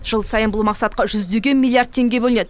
жыл сайын бұл мақсатқа жүздеген миллиард теңге бөлінеді